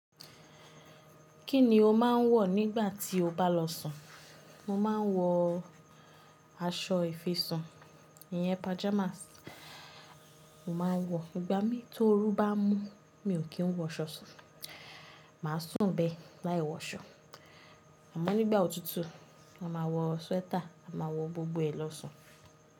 Kí ni o máa ń wọ̀ nígbà tí o bá lọ sùn? Mo ma ń wọ aṣọ ìfisùn, iyen pajamas. Mo ma ń wọ, ìgbà mí tóorú bá mú mi ò kí ń wọ aṣọ sùn, màá sùn bẹ́ láì wọ aṣọ. Àmọ́ nígbà òtútù a máa wọ swẹ́tà a máa wọ gbogbo ẹ̀ lọ sùn.